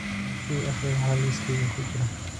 i akhri waxa liiskayga ku jira